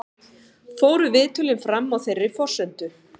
Fóru viðtölin fram á þeirri forsendu